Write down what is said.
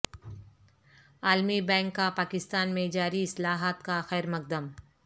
عالمی بینک کا پاکستان میں جاری اصلاحات کا خیرمقدم